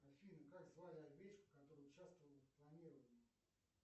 афина как звали овечку которая участвовала в клонировании